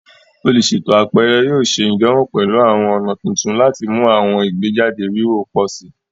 Oluṣeto apẹrẹ yoo ṣe idanwo pẹlu awọn ọna tuntun lati mu awọn igbejade wiwo pọ si